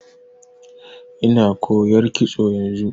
Ina koyar kitso yanzu.